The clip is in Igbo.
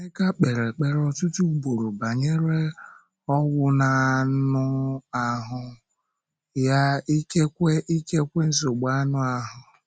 Emeka kpèrè ekpere ọtụtụ ugboro banyere “ọ́gwụ n’ànụ ahụ” ya, ikekwe ikekwe nsogbu anụ ahụ.